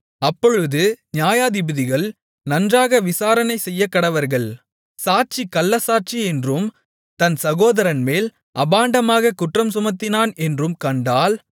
அப்பொழுது நியாயாதிபதிகள் நன்றாக விசாரணை செய்யக்கடவர்கள் சாட்சி கள்ளச்சாட்சி என்றும் தன் சகோதரன்மேல் அபாண்டமாகக் குற்றம்சுமத்தினான் என்றும் கண்டால்